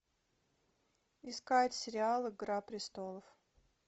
искать сериал игра престолов